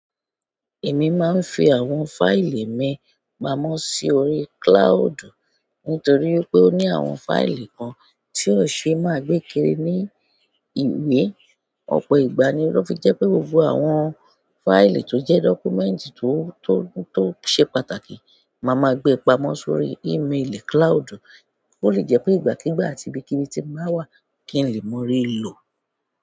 Èmi máa ń fi àwọn fáìlì mi pamọ́ si órí cloud nítorí wipé ó ní àwọn fáìlì kan tí ò ṣe má gbé kiri ní ìwé. Ọ̀pọ̀ ìgbà ni ó fi jẹ́ pé gbogbo àwọn fáìlì tó jẹ́ dọ́kúmẹ́ǹtì tó, tó, tó ṣe pàtàkì máa ma gbé pamọ́ sórí emaili cloud. Ó lè jẹ́ pé ìgbàkígbà àti ibikíbi tí bàá wà kí n lè mọ́rí lò.